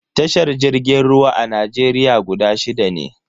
Tashar jirgin ruwa a Najeriya guda shida ne.